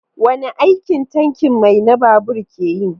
Wane aiki tankin mai na babur ke yi?